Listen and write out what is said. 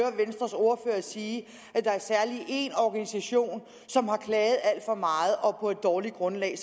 når sige at der særlig er én organisation som har klaget alt for meget og på et dårligt grundlag